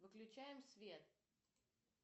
выключаем свет